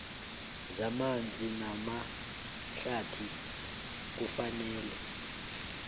zamanzi namahlathi kufanele